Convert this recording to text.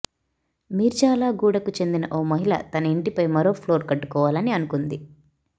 మిర్జాలగూడకు చెందిన ఓ మహిళల తన ఇంటిపై మరో ప్లోర్ కట్టుకోవాలని అనుకుంది